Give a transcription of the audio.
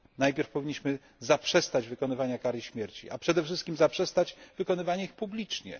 Najpierw powinniśmy zaprzestać wykonywania kary śmierci, a przede wszystkim zaprzestać wykonywania ich publicznie.